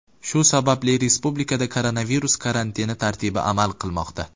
Shu sababli respublikada koronavirus karantini tartibi amal qilmoqda .